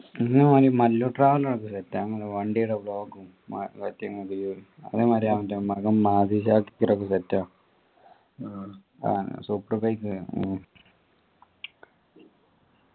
പിന്നെ ആര് മല്ലു traveller മറ്റേ നമ്മളെ വണ്ടി ടെ vlogue ഉം മറ്റേ അങ്ങനെ മറ്റേ അവൻ്റെ മകം ആഹ് super page